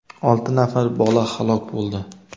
olti nafar bola halok bo‘ldi.